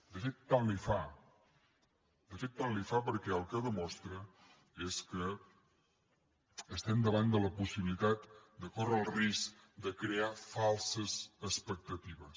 de fet tant li fa de fet tant li fa perquè el que de·mostra és que estem davant de la possibilitat de córrer el risc de crear falses expectatives